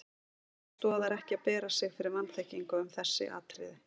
Hér stoðar ekki að bera fyrir sig vanþekkingu um þessi atriði.